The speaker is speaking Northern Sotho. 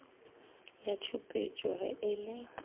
ya tšhupetšo ge e le